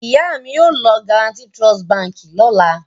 Ìyá mi yóò lọ Guaranty Trust Báńkì lọ́la.